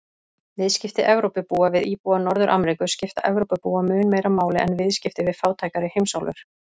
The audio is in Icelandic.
Viðskipti Evrópubúa við íbúa Norður-Ameríku skipta Evrópubúa mun meira máli en viðskipti við fátækari heimsálfur.